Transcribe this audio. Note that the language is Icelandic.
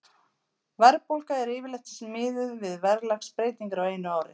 Verðbólga er yfirleitt miðuð við verðlagsbreytingar á einu ári.